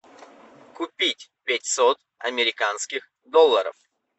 купить пятьсот американских долларов